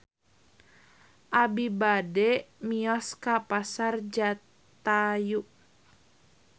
Abi bade mios ka Pasar Jatayu